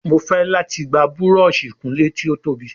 Mọ fè láti gbà Búrọ̀ọ̀ṣì ìkunlé tí o tóbi